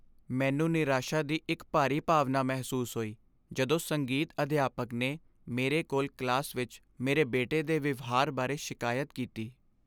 ਮੈਨੂੰ ਨਿਰਾਸ਼ਾ ਦੀ ਇੱਕ ਭਾਰੀ ਭਾਵਨਾ ਮਹਿਸੂਸ ਹੋਈ ਜਦੋਂ ਸੰਗੀਤ ਅਧਿਆਪਕ ਨੇ ਮੇਰੇ ਕੋਲ ਕਲਾਸ ਵਿੱਚ ਮੇਰੇ ਬੇਟੇ ਦੇ ਵਿਵਹਾਰ ਬਾਰੇ ਸ਼ਿਕਾਇਤ ਕੀਤੀ।